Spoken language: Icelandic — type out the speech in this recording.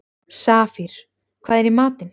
Safír, hvað er í matinn?